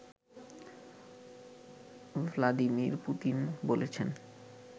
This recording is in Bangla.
ভ্লাদিমির পুতিন বলেছেন